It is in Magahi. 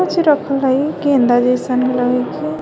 काच्ची रखल है इ गेंदा जइसन लागथय--